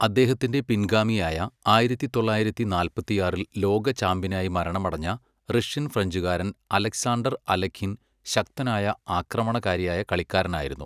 അദ്ദേഹത്തിന്റെ പിൻഗാമിയായ ആയിരത്തി തൊള്ളായിരത്തി നാല്പത്തിയാറിൽ ലോക ചാമ്പ്യനായി മരണമടഞ്ഞ റഷ്യൻ ഫ്രഞ്ചുകാരൻ അലക്സാണ്ടർ അലഖിൻ ശക്തനായ ആക്രമണകാരിയായ കളിക്കാരനായിരുന്നു.